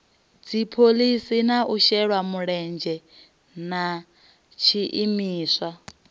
dziphoḽisi na vhashelamulenzhe na tshiimiswa